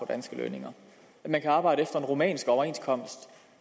danske lønninger når man kan arbejde efter en rumænsk overenskomst